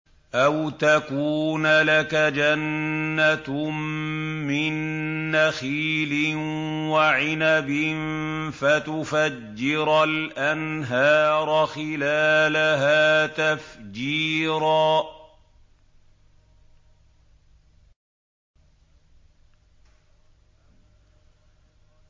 أَوْ تَكُونَ لَكَ جَنَّةٌ مِّن نَّخِيلٍ وَعِنَبٍ فَتُفَجِّرَ الْأَنْهَارَ خِلَالَهَا تَفْجِيرًا